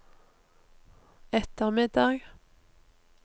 ettermiddag